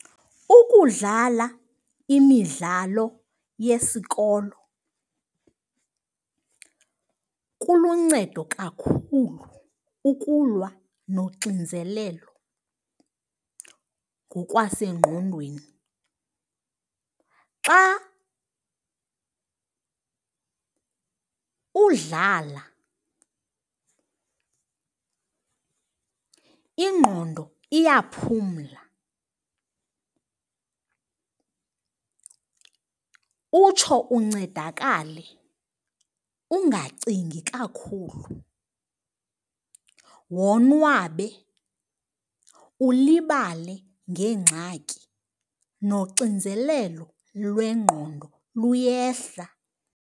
Ukudlala imidlalo yesikolo kuluncedo kakhulu ukulwa noxinzelelo ngokwasengqondweni. Xa udlala ingqondo iyaphumla utsho uncedakale ungacingi kakhulu, wonwabe, ulibale ngeengxaki. Noxinzelelo lwengqondo luyehla.